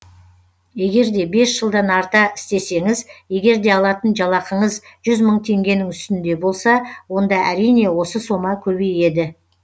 егер де бес жылдан арта істесеңіз егер де алатын жалақыңыз жүз мың теңгенің үстінде болса онда әрине осы сома көбейеді